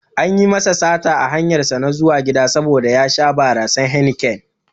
Anyi masa sata a hanyar zuwa gida saboda ya sha barasan Heineken